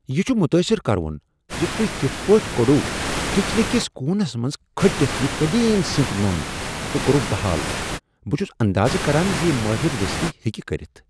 یہ چھ متٲثر کرٕوُن ز تۄہہ کتھ پٲٹھۍ کوٚڑوٕ کچنہٕ کس کوٗنس منٛز کھٔٹتھ یہ قدیم سنٛک نوٚن تہٕ کوٚروٕ بحال۔ بہ چھُس اندازٕ کران زِ مٲہر دٔسلٕے ہیٚکہ کٔرتھ۔